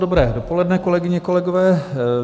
Dobré dopoledne, kolegyně, kolegové.